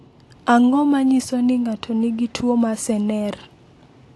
Ang’o ma nyiso ni ng’ato nigi tuwo mar Sener?